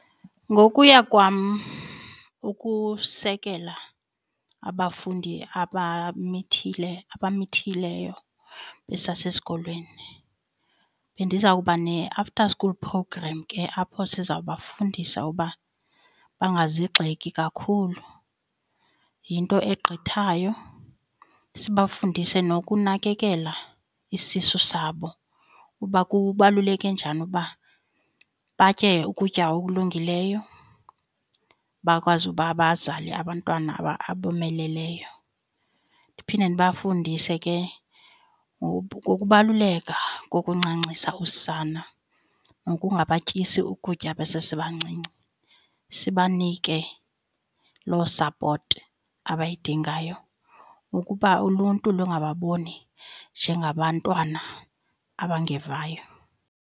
Ngokuya kwam ukusekela abafundi abamithe abamithileyo besasesikolweni bendizawuba ne-after school programme ke apho sizawubafundisa uba bangazigxeki kakhulu yinto egqithayo, sibafundise nokunakekela isisu sabo kuba kubaluleke njani uba batye ukutya okulungileyo, bakwazi uba bazale abantwana abomeleleyo. Ndiphinde ndibafundise ke ngokubaluleka kokuncancisa usana nokungabatyisi ukutya besesebancinci. Sibanike loo sapoti abayidingayo ukuba uluntu lungababoni njengabantwana abangevayo.